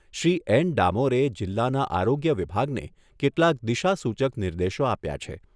Shri N ડામોરે જિલ્લાના આરોગ્ય વિભાગને કેટલાક દિશાસૂચક નિર્દેશો આપ્યા છે.